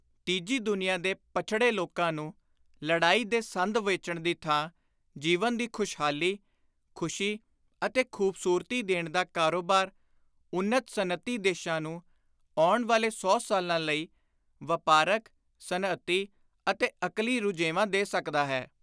ਤੀਜੀ ਦੁਨੀਆਂ ਦੇ ਪੱਛੜੇ ਲੋਕਾਂ ਨੂੰ ਲੜਾਈ ਦੇ ਸੰਦ ਵੇਚਣ ਦੀ ਥਾਂ ਜੀਵਨ ਦੀ ਖ਼ੁਸ਼ਹਾਲੀ, ਖ਼ੁਸ਼ੀ ਅਤੇ ਖ਼ੁਬਸੂਰਤੀ ਦੇਣ ਦਾ ਕਾਰੋਬਾਰ ਉੱਨਤ ਸਨਅਤੀ ਦੇਸ਼ਾਂ ਨੂੰ, ਆਉਣ ਵਾਲੇ ਸੌ ਸਾਲਾਂ ਲਈ, ਵਾਪਾਰਕ, ਸਨਅਤੀ ਅਤੇ ਅਕਲੀ ਰੁਝੇਵਾਂ ਦੇ ਸਕਦਾ ਹੈ।